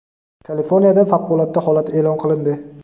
Kaliforniyada favqulodda holat e’lon qilindi.